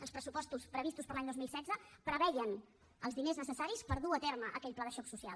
els pressupostos previstos per a l’any dos mil setze preveien els diners necessaris per dur a terme aquell pla de xoc social